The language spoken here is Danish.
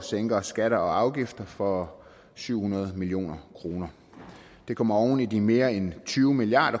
sænker skatter og afgifter for syv hundrede million kroner det kommer oven i de mere end tyve milliard